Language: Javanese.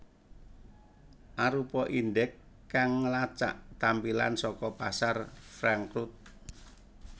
arupa indeks kang ngelacak tampilan saka pasar Frankfurt